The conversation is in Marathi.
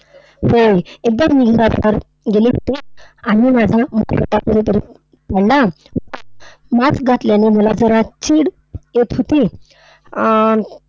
होय, एकदा मी बाजारात गेले होते आणि माझा मुखवटा कुठेतरी पडला. Mask घातल्याने मला जरा चीड येत होती. अं